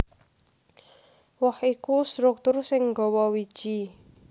Woh iku struktur sing nggawa wiji